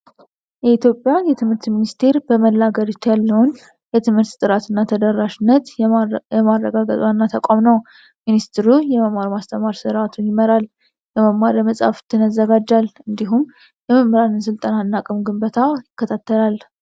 የኢትዮጵያ የትምህርት ሚኒስቴር በመላ ሀገሪቱ ያለውን የትምህርት ጥራትና ተደራሽነት የማረጋገጥ ዋና ተቋም ነው። ሚኒስቴሩ የመማር ማስተማር ስርዓቱን ይመራል፣ የመማሪያ መጽሐፍትን ያዘጋጃል እንዲሁም የመምህራንን ሥልጠና እና አቅም ግንባታ ይከታተላል።